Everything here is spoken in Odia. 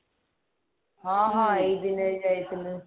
ହଁ ହଁ ଏଇ ଦିନରେ ଯାଇଥିଲେ